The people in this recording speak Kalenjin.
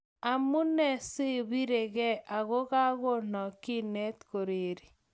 Amune sobirekei akokakonok kinet koreri?